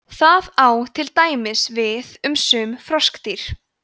það á til dæmis við um sum froskdýr